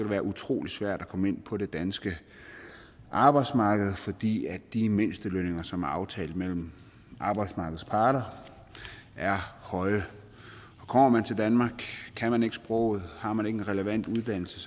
være utrolig svært at komme ind på det danske arbejdsmarked fordi de mindstelønninger som er aftalt mellem arbejdsmarkedets parter er høje og kommer man til danmark kan man ikke sproget og har man ikke en relevant uddannelse